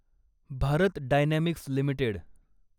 Bharat dynamics limited